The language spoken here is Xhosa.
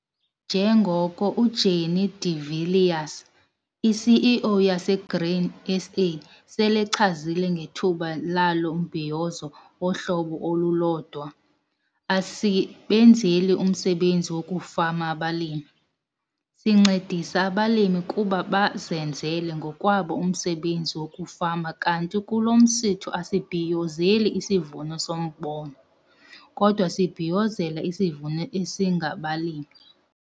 Njengoko uJannie de Villiers, iCEO yaseGrain SA selechazile ngethuba lalo mbhiyozo wohlobo olulodwa- 'Asibenzeli umsebenzi wokufama abalimi. Sincedisa abalimi ukuba bazenzele ngokwabo umsebenzi wokufama kanti kulo msitho asibhiyozeli isivuno sombona, kodwa sibhiyozela isivuno esingabalimi.'